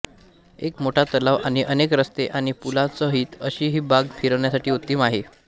एक मोठा तलाव आणि अनेक रस्ते आणि पुलांसहित अशी ही बाग फिरण्यासाठी उत्तम आहे